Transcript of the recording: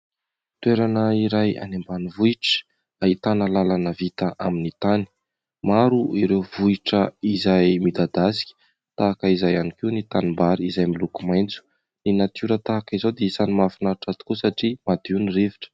Toerana iray any ambanivohitra ahitana lalana vita amin'ny tany. Maro ireo vohitra izay midadasika tahaka izay ihany koa ny tanimbary izay miloko maitso. Ny natiora tahaka izao dia isan'ny mahafinaritra tokoa satria madio ny rivotra.